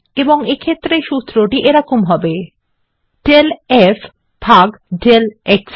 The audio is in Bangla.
এবং এক্ষেত্রে সূত্রটি এরকম হবে del f over del x